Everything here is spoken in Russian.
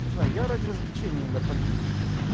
не знаю я ради развлечения иногда политикой